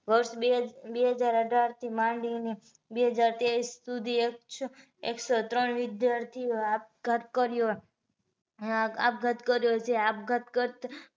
વર્ષ બે હજાર અઢાર થી માંડી ને બે હજાર ત્રેવીસ સુધી એક સો ત્રણ વિદ્યાર્થીઓએ આપઘાત કર્યો આપઘાત કર્યો છે આપઘાત કરતા